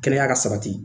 Kɛnɛya ka sabati